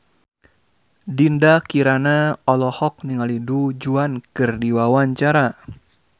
Dinda Kirana olohok ningali Du Juan keur diwawancara